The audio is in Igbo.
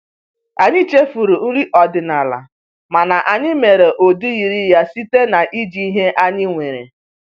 Anyị chefuru nri ọdịnala, mana anyị mere ụdị yiri ya site na iji ihe anyị nwere